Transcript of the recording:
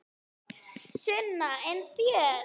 Sunna: En þér?